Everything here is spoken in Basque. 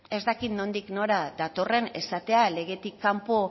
ez dakit nondik nora datorren esatea legetik kanpo